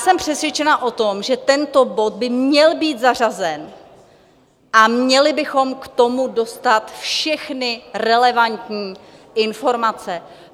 Jsem přesvědčená o tom, že tento bod by měl být zařazen a měli bychom k tomu dostat všechny relevantní informace.